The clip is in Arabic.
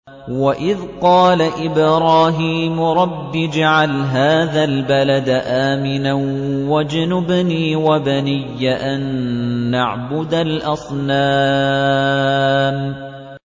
وَإِذْ قَالَ إِبْرَاهِيمُ رَبِّ اجْعَلْ هَٰذَا الْبَلَدَ آمِنًا وَاجْنُبْنِي وَبَنِيَّ أَن نَّعْبُدَ الْأَصْنَامَ